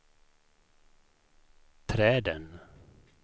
träden